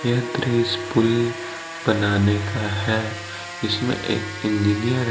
यह दृश पुल बनाने का है इसमें एक इंजीनियर --